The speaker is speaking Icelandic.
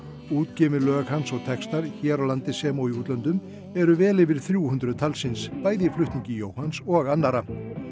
útgefin lög hans og textar hérlendis sem og eru vel yfir þrjú hundruð talsins bæði í flutningi Jóhanns og annarra